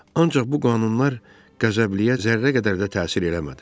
Ancaq bu qanunlar qəzəbliyə zərrə qədər də təsir eləmədi.